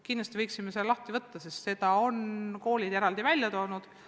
Kindlasti võiksime selle teema arutelu alla võtta, sest koolid on selle eraldi välja toonud.